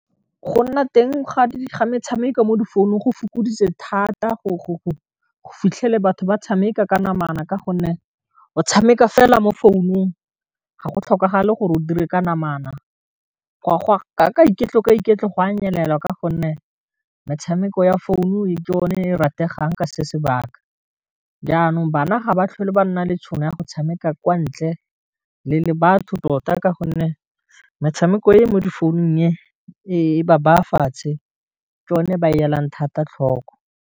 Go nna teng ga metshameko mo difounung go fokoditse thata go fitlhela batho ba tshameka ka namana ka gonne o tshameka fela mo founung ga go tlhokagale gore o dire ka namana ka iketlo ka iketlo go a nyelela ka gonne metshameko ya founu-u e ke yone e rategang ka se sebaka, janong banna ga ba tlhole ba nna le tšhono ya go tshameka kwa ntle le batho tota, ka gonne metshameko e mo di founung e ba ba fatshe ke yone e ba e elang thata tlhoko.